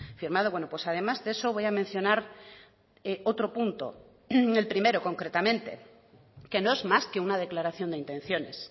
firmado pues además de eso voy a mencionar otro punto el primero concretamente que no es más que una declaración de intenciones